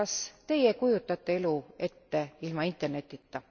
Kas teie kujutate elu ette ilma Internetita?